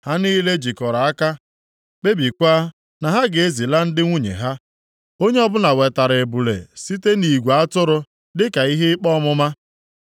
Ha niile jikọrọ aka kpebiekwa na ha ga-ezila ndị nwunye ha. Onye ọbụla wetara ebule site nʼigwe atụrụ dịka ihe ikpe ọmụma.